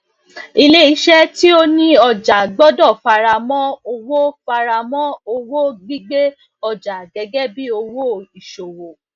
ilé isẹ tí ó ni ọjà gbódò fara mọ owó fara mọ owó gbígbé ojà gẹgẹ bí owó ìṣòwò